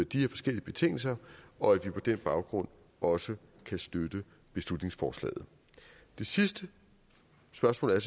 de her forskellige betingelser og at vi på den baggrund også kan støtte beslutningsforslaget det sidste spørgsmål er